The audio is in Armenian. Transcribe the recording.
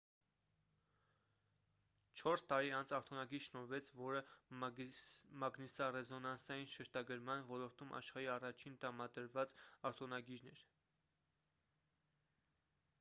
չորս տարի անց արտոնագիր շնորհվեց որը մագնիսառեզոնանսային շերտագրման ոլորտում աշխարհի առաջին տրամադրված արտոնագիրն էր